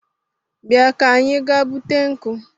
Bia ka anyị gaa bute nkụ